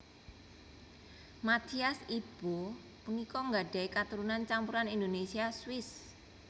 Mathias Ibo punika nggadhahi katurunan campuran Indonesia Swiss